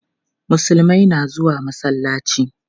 Musulmai na zuwa masallaci.